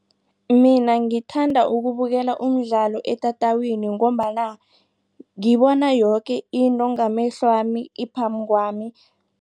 Mina ngithanda ukubukela umdlalo etatawini ngombana ngibona yoke into ngamehlwami iphambi kwami.